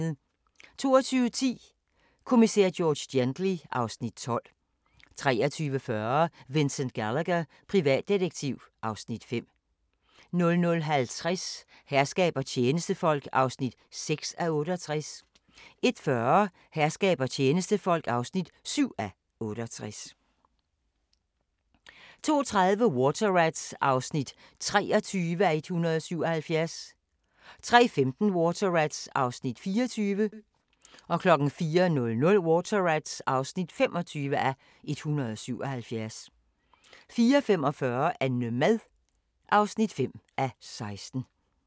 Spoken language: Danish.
22:10: Kommissær George Gently (Afs. 12) 23:40: Vincent Gallagher, privatdetektiv (Afs. 5) 00:50: Herskab og tjenestefolk (6:68) 01:40: Herskab og tjenestefolk (7:68) 02:30: Water Rats (23:177) 03:15: Water Rats (24:177) 04:00: Water Rats (25:177) 04:45: Annemad (5:16)